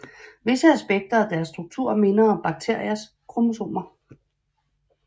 Visse aspekter af deres struktur minder om bakteriers kromosomer